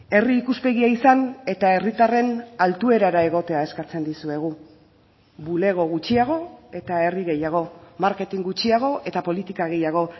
herri ikuspegia izan eta herritarren altuerara egotea eskatzen dizuegu bulego gutxiago eta herri gehiago marketing gutxiago eta politika gehiago